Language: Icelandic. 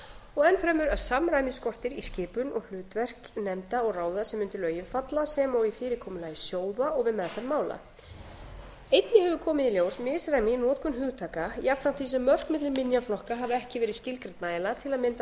og enn fremur að samræmi skortir í skipun og hlutverk nefnda og ráða sem undir lögin falla sem og í fyrirkomulagi sjóða og við meðferð mála einnig hefur komið í ljós misræmi í notkun hugtaka jafnframt ári sem mörk milli minjaflokka hafa ekki verið skilgreind nægjanlega til að mynda